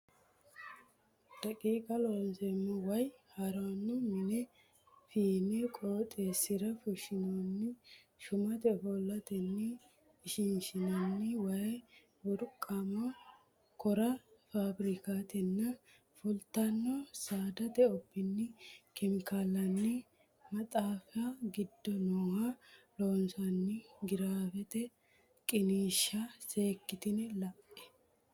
daqiiqa Looseemmo way ha ranno mine fiine qooxeessira fushshinoonni shumate ofollatenni ishininni Way burquuqama kora faafirikkatenni fultanno saadate obbinni kemikaallanni maxaafi ne giddo nooha Loossinanni giraafete qiniishsha seekkitine la e.